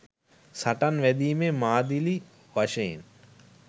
සටන් වැදීමේ මාදිලි වශයෙන්